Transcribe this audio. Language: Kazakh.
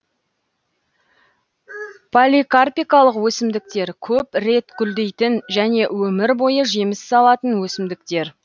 поликарпикалық өсімдіктер көп рет гүлдейтін және өмір бойы жеміс салатын өсімдіктер